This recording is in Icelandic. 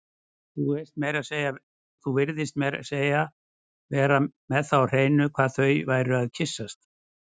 Þú virtist meira að segja vera með það á hreinu hvar þau væru að kyssast